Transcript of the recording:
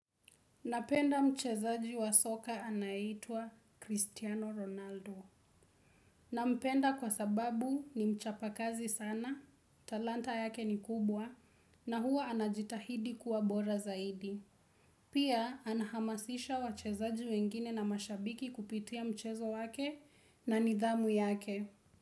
Napenda mchezaji wa soka anaitwa Cristiano Ronaldo. Na mpenda kwa sababu ni mchapa kazi sana, talanta yake ni kubwa na huwa anajitahidi kuwa bora zaidi. Pia anahamasisha wachezaji wengine na mashabiki kupitia mchezo wake na nidhamu yake.